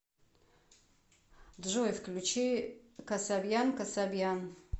джой включи касабьян касабьян